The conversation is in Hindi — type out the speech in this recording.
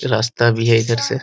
रास्ता भी है इधर से --